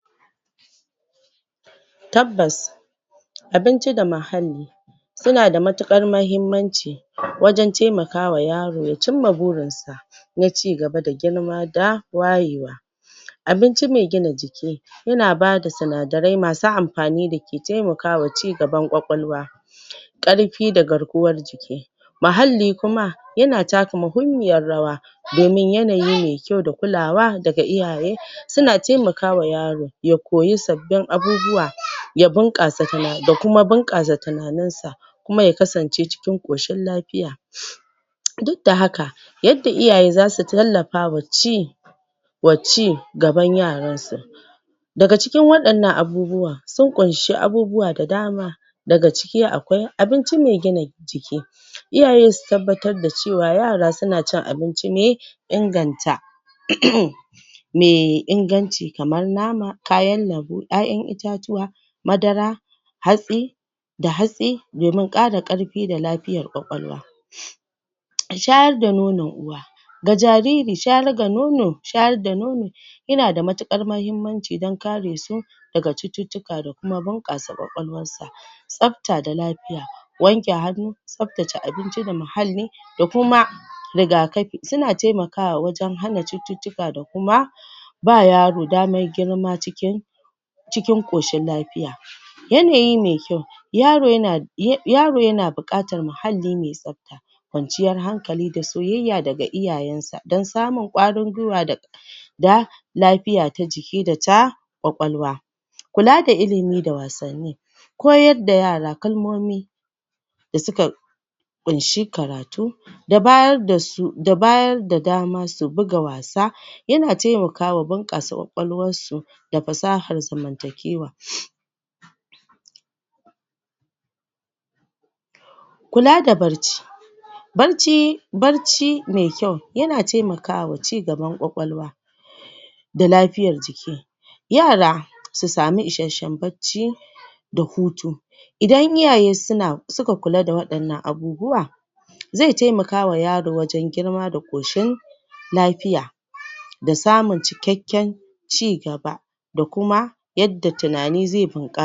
Tabbas Abinci da muhalli suna da matuƙar mahimmanci wajan taimakawa yaro ya cimma burin sa na cigaba da girma da wayewa Abinci mai gina jiki yana bada sinadarai masu amfani dake taimakawa cigaban kwakwalwa ƙarfi da garkuwar jiki Muhalli kuma yana taka mahimmiyar rawa domin yanayi mai kyau da kulawa daga iyaye, suna taimakawa yaro ya koyi sabbin abubuwa ya bunƙasa tunani, ya kuma bunƙasa tunaninsa kuma ya kasance cikin ƙoshin lafiya duk da haka yadda iyaye zasu tallafawa ci wa ci gaban yaransu daga cikin waɗnnan abubuwa sun ƙunshi abubuwa da dama daga ciki akwai abinci mai gina jiki iyaye su tabbatar da cewa yara suna cin abinci mai inganta um mai inganci kamar Nama, kayan lambu, 'ya'yan itatuwa madara hatsi da hatsi domin ƙara ƙarfi da lafiyar kwakwalwa shayar da nonon uwa ga jariri shayar ga nono, shayar da nono yana da matuƙar mahimmanci dan kare su daga cututtuka da kuma bunƙasa kwakwalwarsa tsafta da lafiya wanke hannu, tsaftace abinci da muhalli da kuma rigakafi, suna taimakawa wajan hana cututtuka da kuma ba yaro girma cikin cikin ƙoshin lafiya yanayi mai kyau yaro yana yaro yana buƙatar muhalli mai tsafta kwanciyar hankali da soyayya daga iyayen sa, dan samun ƙwarin gwiwa da lafiya ta jiki da ta kwakwalwa kula da ilimi da wasanni koyar da yara kalmomi da suka ƙunshi karatu da bayar dasu, da bayar da dama su buga wasa yana taimakawa bunƙasa kwakwalwar su da fasahar zamantakewa kula da barci barci barci mai kyau yana taimakawa cigaban kwakwalwa da lafiyar jiki yara su sami isashshen barci da hutu idan iyaye suna suka kula da waɗannan abubauwa zai taimakawa yaro wajan girma da ƙushin lafiya da samun cikakken cigaba da kuma yadda tunani zai bunƙasa